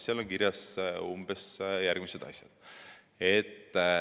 Seal on kirjas umbes järgmised asjad.